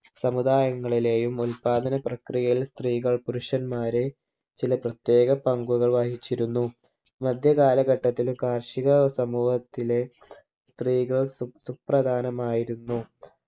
സമുദായങ്ങളിലെയും ഉൽപ്പാദന പ്രക്രിയയിൽ സ്ത്രീകൾ പുരുഷന്മാരെ ചില പ്രത്യേക പങ്കുകൾ വഹിച്ചിരുന്നു മധ്യ കാലഘട്ടത്തിൽ കാർഷിക സമൂഹത്തിലെ സ്ത്രീകൾ സു സുപ്രധാനമായിരുന്നു